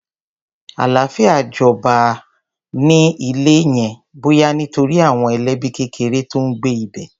Àlàáfíà jọba an-an ní ilé yẹn, bóyá nítorí àwọn ẹlẹ́bí kékeré ló ń gbé ibẹ̀.